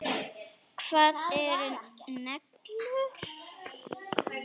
Hvað eru neglur?